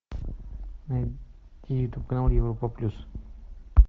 найди ютуб канал европа плюс